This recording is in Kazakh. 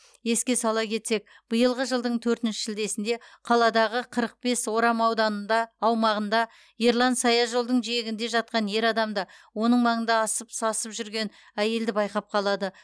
еске сала кетсек биылғы жылдың төртінші шілдесінде қаладағы қырық бес орам ауданында аумағында ерлан саяжолдың жиегінде жатқан ер адамды оның маңында асып сасып жүрген әйелді байқап қалады